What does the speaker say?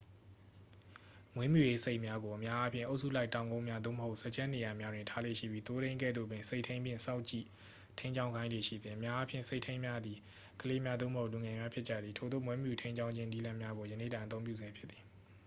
မွေးမြူရေးဆိတ်များကို အများအားဖြင့် အုပ်စုလိုက် တောင်ကုန်းများ သို့မဟုတ် စားကျက်နေရာများတွင် ထားလေ့ရှိပြီး သိုးထိန်းကဲ့သို့ပင် ဆိတ်ထိန်းဖြင့် စောင့်ကြည့်ထိန်းကျောင်းခိုင်းလေ့ရှိသည် အများအားဖြင့် ဆိတ်ထိန်းများသည် ကလေးများ သို့မဟုတ် လူငယ်များဖြစ်ကြသည် ထိုသို့ မွေးမြူထိန်းကျောင်းခြင်းနည်းလမ်းများကို ယနေ့တိုင် အသုံးပြုဆဲဖြစ်သည်